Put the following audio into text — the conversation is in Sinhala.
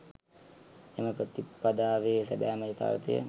එම ප්‍රතිපදාවේ සැබෑම යථාර්ථය